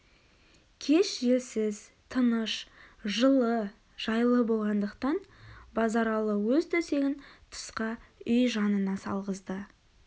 кеш желсіз тыныш жылы жайлы болғандықтан базаралы өз төсегін тысқа үй жанына салғызды